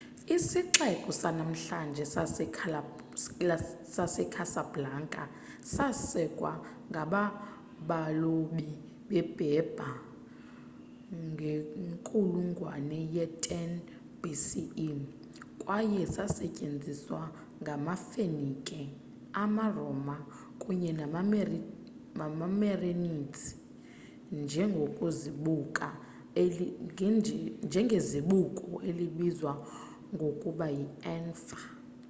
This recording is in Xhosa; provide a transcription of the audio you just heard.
isixeko sanamhlanje secasablanca sasekwa ngabalobi beberber ngenkulungwane ye-10 bce kwaye sasetyenziswa ngamafenike amaroma kunye nemerenids njengezibuko elibizwa ngokuba yianfa